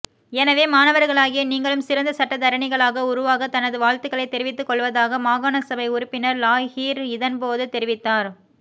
எனவே மாணவர்களாகிய நீங்களும் சிறந்த சட்டத்தரணிகளாக உருவாக தனது வாழ்த்துக்களை தெரிவித்துக்கொள்வதாக மாகாண சபை உறுப்பினர் லாஹீர் இதன்போது தெரிவித்தார்